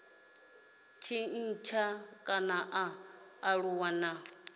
tshintsha kana a aluwa na